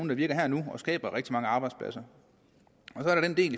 der virker her og nu og skaber rigtig mange arbejdspladser